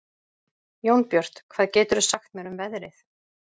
Jónbjört, hvað geturðu sagt mér um veðrið?